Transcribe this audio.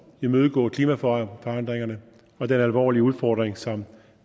imødegå klimaforandringerne og den alvorlige udfordring som